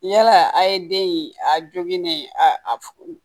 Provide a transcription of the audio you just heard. Yala a ye den in a jogini a